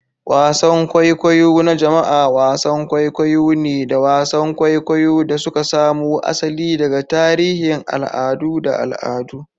Wasan kwaikwayo na jama'a wasan kwaikwayo ne da wasan kwaikwayo da suka samo asali daga tarihin al'adu da al'adu.